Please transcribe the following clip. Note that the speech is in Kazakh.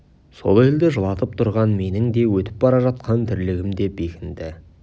сол елді жылатып тұрған менің де өтіп бара жатқан тірлігім деп бекінді